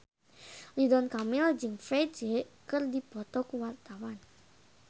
Ridwan Kamil jeung Ferdge keur dipoto ku wartawan